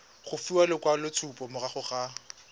go fiwa lekwaloitshupo morago ga